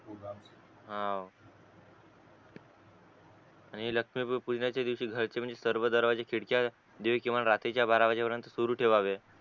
हा आणि लक्ष्मी पूजनाच्या दिवशी घरातले म्हणजे सर्व दरवाजे खिडक्या दीड कीमान रात्री चा बारा वाजे पर्यंत सुरु ठेवावे